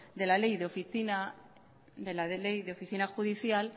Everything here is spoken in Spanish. de la ley de oficina judicial